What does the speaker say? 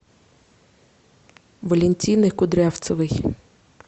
валентины кудрявцевой